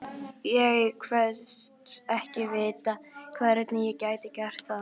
Ég kvaðst ekki vita, hvernig ég gæti gert það.